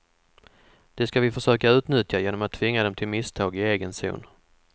Det ska vi försöka utnyttja genom att tvinga dem till misstag i egen zon.